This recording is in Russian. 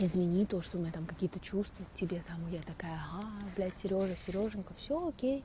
извини то что у меня там какие-то чувства к тебе там я такая блять серёжа сережёнька всё окей